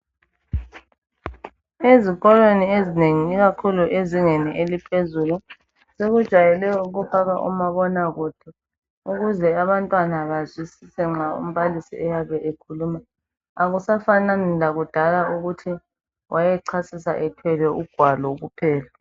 Ezikolweni ezinengi ikakhulu ezingeni eliphezulu sebejayele ukufaka umabonakude ukuze abantwana bazwisise nxa umbalisi eyabe ekhuluma akusafaki lakudala ukuthi wayechasisa ethwele ugwalo kuphela